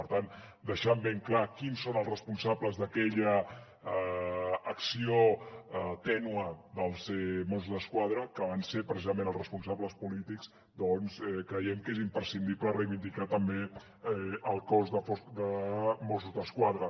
per tant deixant ben clar qui són els responsables d’aquella acció tènue dels mossos d’esquadra que van ser precisament els responsables polítics doncs creiem que és imprescindible reivindicar també el cos de mossos d’esquadra